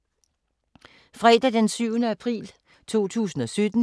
Fredag d. 7. april 2017